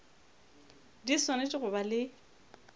di swanetše go ba le